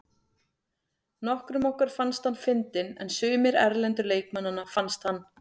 Nokkrum okkar fannst hann fyndinn en sumir erlendu leikmannanna fannst hann.